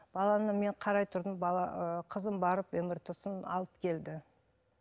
баланы мен қарай тұрдым бала ыыы қызым барып мрт сын алып келді